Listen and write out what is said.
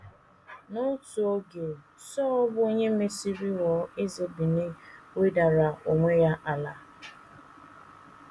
N’otu oge, Sọl, bụ́ onye mesịrị ghọọ eze Benin, wedara onwe ya ala.